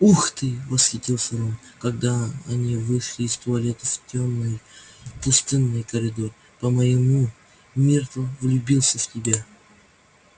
ух ты восхитился рон когда они вышли из туалета в тёмный пустынный коридор по-моему миртл влюбился в тебя